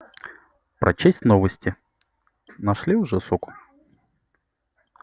прочесть новости нашли уже суку